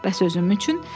Bəs özün üçün?